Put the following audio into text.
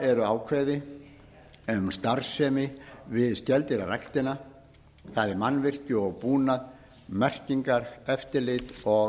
eru ákvæði um starfsemi við skeldýraræktina það er mannvirki og búnað merkingar eftirlit og